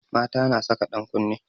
Mata na saka ɗan kunne